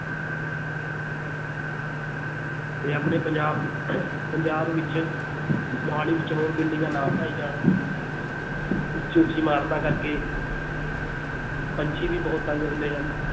ਤੇ ਆਪਣੇ ਪੰਜਾਬ ਪੰਜਾਬ ਵਿੱਚ ਮੁਹਾਲੀ ਵਿੱਚ ਹੋਰ ਬਿਲਡਿੰਗਾਂ ਨਾ ਬਣਾਈ ਜਾਣ ਉੱਚੀ ਉੱਚੀ ਇਮਾਰਤਾਂ ਕਰੇ ਪੰਛੀ ਵੀ ਬਹੁਤ ਤੰਗ ਹੁੰਦੇ ਹਨ,